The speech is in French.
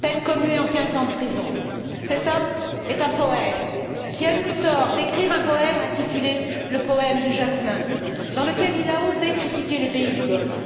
peine commuée en quinze ans de prison. Cet homme est un poète, qui a eu le tort d'écrire un poème intitulé Le poème du jasmin, dans lequel il a osé critiquer les pays du Golfe.